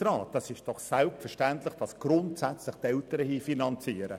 Es ist selbstverständlich, dass die Eltern hier grundsätzlich finanzieren.